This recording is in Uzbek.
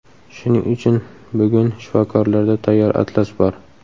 Shuning uchun bugun shifokorlarda tayyor atlas bor.